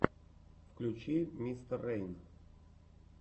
включи мистер рейн